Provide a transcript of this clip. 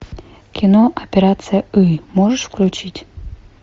кино операция ы можешь включить